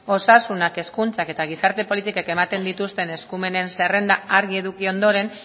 osasunak hezkuntzak eta gizarte politikek ematen dituzten eskumenen zerrenda argi eduki ondoren